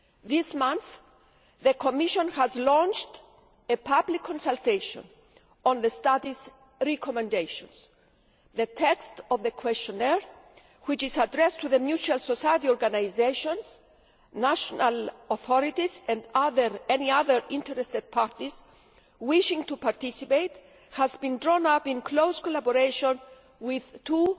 This month, the Commission launched a public consultation on the study's recommendations. The text of the questionnaire, which is addressed to mutual society organisations, national authorities and any other interested parties wishing to participate, was drawn up in close collaboration with two